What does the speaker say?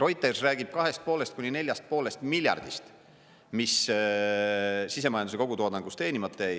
Reuters räägib kahest ja poolest, kuni neljast ja poolest miljardist, mis sisemajanduse kogutoodangus teenimata jäi.